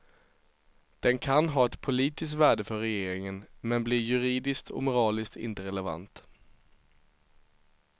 Den kan ha ett politiskt värde för regeringen men blir juridiskt och moraliskt inte relevant.